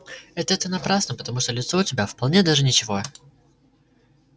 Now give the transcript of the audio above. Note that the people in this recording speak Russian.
это ты напрасно потому что лицо у тебя вполне даже ничего